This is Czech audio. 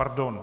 Pardon.